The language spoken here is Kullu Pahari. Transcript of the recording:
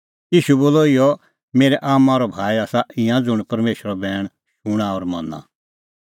ईशू बोलअ इहअ मेरै आम्मां और भाई आसा ईंयां ज़ुंण परमेशरो बैण शूणां और मना